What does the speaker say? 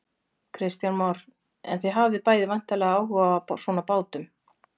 Kristján Már: En þið hafið bæði væntanlega áhuga á svona bátum?